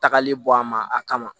Tagali bɔ a ma a kama